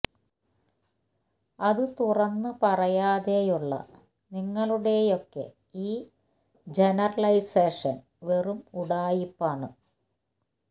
അത് തുറന്ന് പറയാതെയുള്ള നിങ്ങളുടെയൊക്കെ ഈ ജനറലൈസേഷൻ വെറും ഉഡായിപ്പ് ആണ്